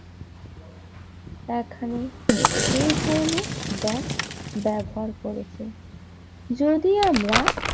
এ ধরনের ব্যাগ ব্যবহার করেছেন যদি আমরা